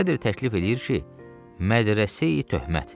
Sədr təklif eləyir ki, Mədrəseyi-Töhmət.